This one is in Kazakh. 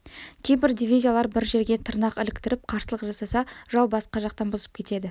кейбір дивизиялар бір жерге тырнақ іліктіріп қарсылық жасаса жау басқа жақтан бұзып кетеді